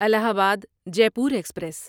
الہ آباد Jaipur express